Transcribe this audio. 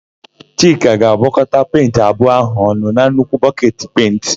Chika ga-agwọkọta penti abụọ áhụ̀ ọnụ na nnukwu bọketi pentị.